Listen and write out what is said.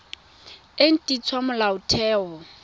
e nt hwa ya molaotheo